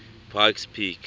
pikes peak